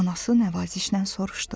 Anası nəvazişlə soruşdu.